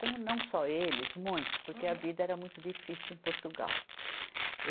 Como não só eles, muitos, porque a vida era muito difícil em Portugal.